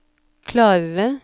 klarere